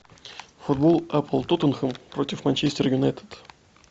футбол апл тоттенхэм против манчестер юнайтед